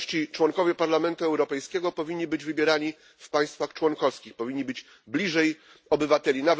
Członkowie Parlamentu Europejskiego powinni być wybierani w państwach członkowskich, powinni być bliżej obywateli.